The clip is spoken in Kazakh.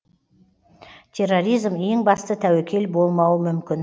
терроризм ең басты тәуекел болмауы мүмкін